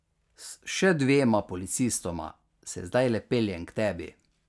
S še dvema policistoma se zdajle peljem k tebi.